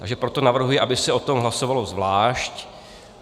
Takže proto navrhuji, aby se o tom hlasovalo zvlášť.